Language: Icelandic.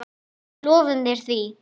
Við lofum þér því.